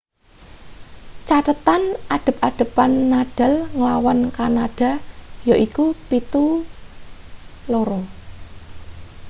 cathethan adhep-adhepan nadal nglawan kanada yaiku 7-2